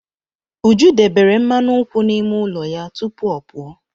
Uju debere mmanụ nkwụ n'ime ụlọ ya tupu ọ pụọ.